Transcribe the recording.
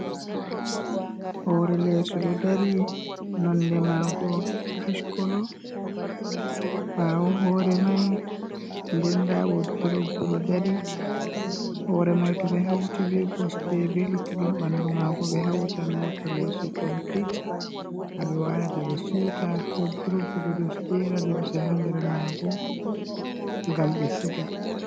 "Hoore leso ɗo dari nonde mago ashkolo ɓawo hore mai ɗen nda wodrobo ɗo dari hore mai to ɓe hauti be kosɗe be luttuɗum ɓandu mago ɓe hauta wartan leso complit ha ɓe warata ɓe siuta wodrobo ɓeɗo jera limse ha nder mago ngam be siga